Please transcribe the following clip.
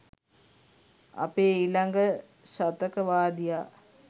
අපේ ඊලඟ ශතක වාදියා